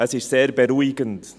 Es ist sehr beruhigend.